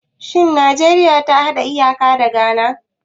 Shin Najeriya ta hada iyaka da Ghana?